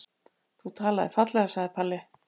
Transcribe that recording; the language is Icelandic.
Þú talaðir fallega, sagði Palli.